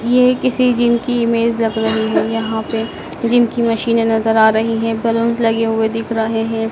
ये किसी जिम की इमेज लग रहीं हैं। यहाँ पे जिम की मशीनें नजर आ रहीं हैं। बलून्स लगे हुए दिख रहें हैं।